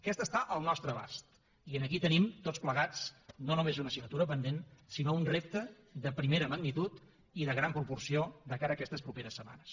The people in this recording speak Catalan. aquesta està al nostre abast i aquí tenim tots plegats no només una assignatura pendent sinó un repte de primera magnitud i de gran proporció de cara a aquestes properes setmanes